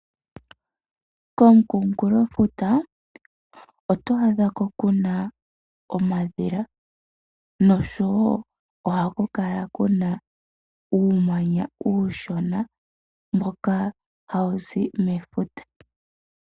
Komukunkulofuta, oto adha ko kuna omadhila, nosho wo ohaku kala kuna uumanya uushona mboka hawu zi mefuta.